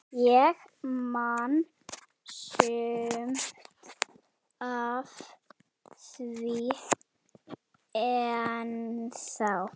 Ég man sumt af því ennþá.